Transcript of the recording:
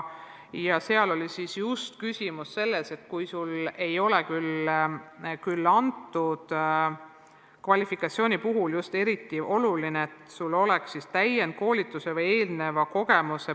Seal oli küsimus selles, et kui sul ei ole vajalikku kvalifikatsiooni, siis on eriti oluline, et sul oleks läbitud täiendkoolitus või eelnev töökogemus.